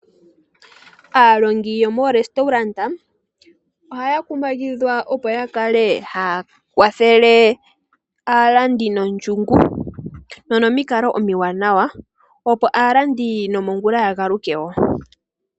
Aalongi yomoorestolanda ohaya kumagidhwa opo ya kale haya kwathele aalandi nondjungu nonomikalo omiwanawa opo aalandi nongula ya galuke wo.